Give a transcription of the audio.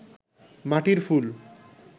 মাটির ফুল